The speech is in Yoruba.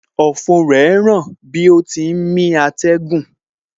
Ọ̀fun rẹ ń ràn bí ó ti ń mí atẹ́gùn